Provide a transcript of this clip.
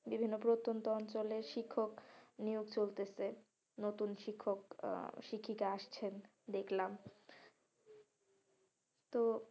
বিভিন্ন প্রতন্ত অঞ্চলে শিক্ষক নিয়োগ চলতেছে, নতুন শিক্ষক আহ শিক্ষিকা আসতেছে দেখলাম তো